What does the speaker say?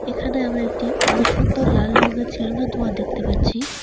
এখানে আমরা একটি অনেক সুন্দর লাল রঙের ছেলুনের -এর দোকান দেখতে পাচ্ছি।